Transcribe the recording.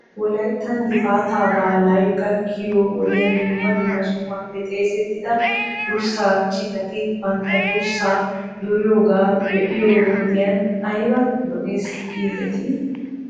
Wolayttan gifaataa baalay gakkiyoo wodiyan dumma dumma sohuwaappe xeesettida durssaa citati bantta durssaa duriyoogaa be'iyoo woduyan ayba lo'es giidetii ?